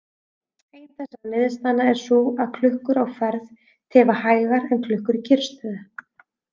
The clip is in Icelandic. Ein þessara niðurstaðna er sú að klukkur á ferð tifa hægar en klukkur í kyrrstöðu.